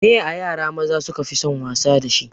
Me ye ayara maza su kafi son wasa dashi?